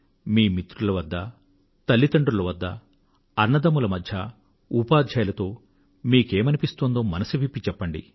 మీ మిత్రుల వద్ద తల్లితండ్రుల వద్ద అన్నదమ్ముల మధ్యా ఉపాధ్యాయులతో మీకు ఏమనిపిస్తోందో మనసు విప్పి చెప్పండి